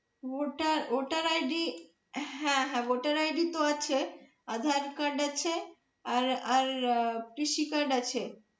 voter ID হ্যাঁ হ্যাঁ voter ID তো আছে aadhaar card আছে আর আর কৃষি card আছে।